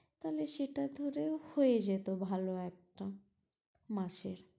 তাহলে সেটা ধরেও হয়ে যেত ভালো একটা মাসের